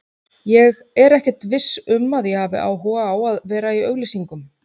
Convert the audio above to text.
Ég er ekkert viss um að ég hafi áhuga á að vera í auglýsingum.